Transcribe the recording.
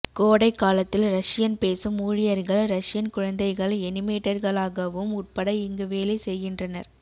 கோடை காலத்தில் ரஷியன் பேசும் ஊழியர்கள் ரஷியன் குழந்தைகள் எனிமேட்டர்களாகவும் உட்பட இங்கு வேலை செய்கின்றனர்